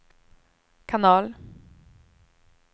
kanal